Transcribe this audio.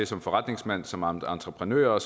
som forretningsmænd som entreprenører